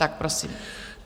Tak prosím.